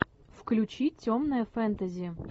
включи темное фэнтези